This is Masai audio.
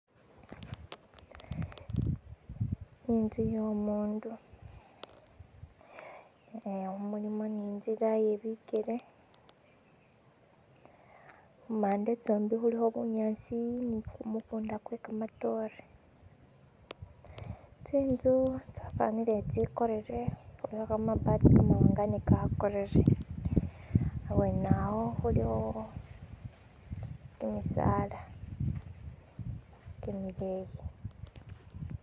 Inzu yo'mundu nga mulimo ne'nzila ye bikele khumande tsombi khulikho bunyasi ni kumukunda kwe kamatore, tsi'nzu tsafanire tsi'korere, kamabati kamawanga ne kakorere, abwenawo khulikho kimisala kimileyi.